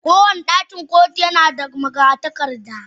Kowane ɗakin kotu yana da magatakarda.